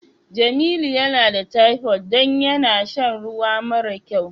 Jamilu yana da typhoid don yana sha ruwa mare kyau.